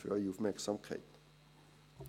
Wir kommen zur Abstimmung.